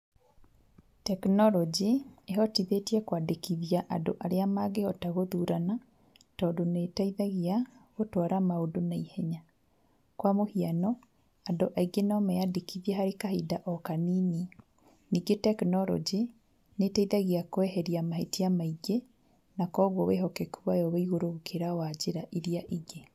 Tekinoronjĩ ĩhotithĩtie kwandĩkithia andũ arĩa mangĩhota gũthurana, tondũ nĩ ĩteithagia gũtwara maũndũ naihenya. Kwa mũhiano andũ aingĩ no meyandĩkithie harĩ kahinda o kanini, ningĩ tekinoronjĩ nĩ ĩteithagia kweheria mahĩtia maingĩ na koguo wĩhokeku wayo wĩ igũrũ gũkĩra wa njĩra iria ingĩ.